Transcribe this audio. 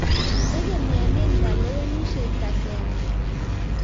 tegemiani kalawenisie kaseng nguung